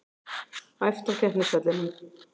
Æft á keppnisvellinum